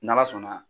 N'ala sɔnna